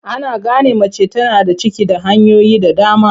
Ana gane mace tana da ciki da hanyoyi da dama.